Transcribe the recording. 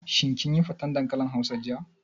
Shin kin yi faten dankalin hausa jiya?